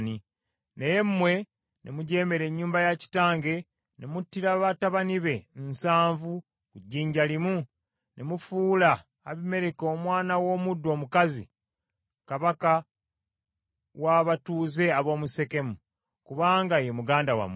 naye mmwe ne mujeemera ennyumba ya kitange ne muttira batabani be nsanvu ku jjinja limu, ne mufuula Abimereki omwana w’omuddu omukazi, kabaka w’abatuuze ab’omu Sekemu, kubanga ye muganda wammwe,